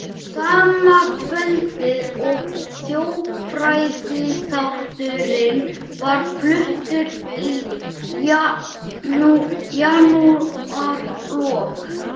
Sama kvöldið og þjóðfræðiþátturinn var fluttur í janúarlok